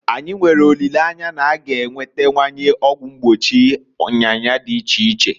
Anyi nwere olileanya na- a ga enwetawanye ọgwụ mgbochi nyanya dị iche iche.